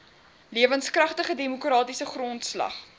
lewenskragtige demokratiese grondslag